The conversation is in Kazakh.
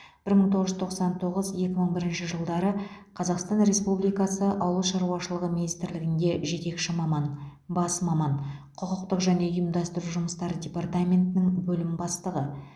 бір мың тоғыз жүз тоқсан тоғыз екі мың бірінші жылдары қазақстан республикасы ауыл шаруашылығы министрлігінде жетекші маман бас маман құқықтық және ұйымдастыру жұмыстары департаментінің бөлім бастығы